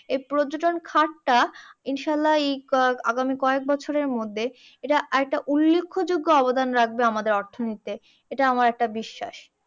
এই পর্যটন খাত টা ইনশাআল্লা এই আহ আগামী কয়েক বছরের মধ্যে এইটা আর একটা উল্লেখ্যযোগ্য অবদান রাখবে আমদের অর্থনীতিতে, এইটা আমার একটা বিশ্বাস।